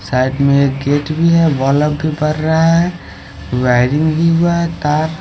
Side में एक gate भी है बल्ब भी बर रहा है वायरिंग भी हुआ है तार।